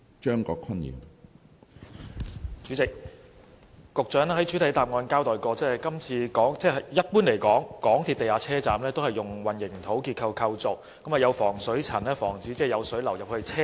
主席，局長在主體答覆中指出，一般而言，港鐵地下車站結構是以混凝土建造，設有防水層以防止有水流入車站內。